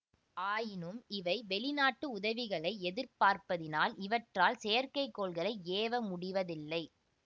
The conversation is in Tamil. ஆயினும் இவை வெளிநாட்டு உதவிகளை எதிர்பார்ப்பதினால் இவற்றால் செயற்கைக்கோள்களை ஏவ முடிவதில்லை